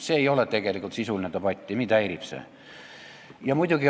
See ei ole tegelikult sisuline debatt ja mind see häirib.